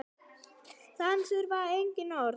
Þarna þurfti engin orð.